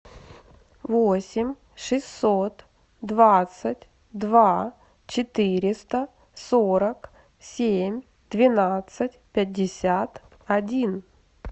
восемь шестьсот двадцать два четыреста сорок семь двенадцать пятьдесят один